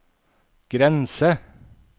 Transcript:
grense